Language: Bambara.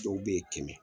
Dɔw bɛ ye kɛmɛ